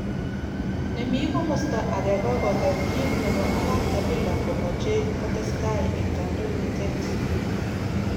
Nemi komosta age kokoger kit nebo Arap Kabila komoche kotestai eng kadoinatet.